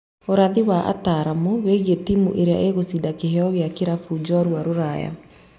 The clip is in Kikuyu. Ũrathi wa wataramu wĩgie timũ ĩrĩa ĩgucida kĩheo kĩa kĩrabu njorua rũraya.